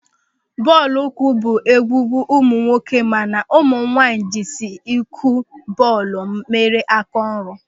Bọọlụ ụkwụ bụ egwugwu ụmụnwoke mana ụmụnwaanyị jizi ịkụ bọọlụ mere áká ọrụ.